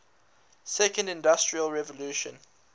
second industrial revolution